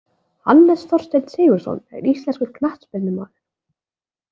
Hannes Þorsteinn Sigurðsson er íslenskur knattspyrnumaður.